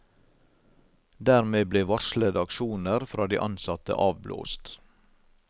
Dermed ble varslede aksjoner fra de ansatte avblåst.